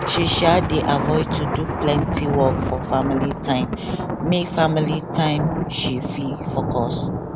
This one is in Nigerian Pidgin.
she um dey avoid to do plenty work for family time make family time make she fit focus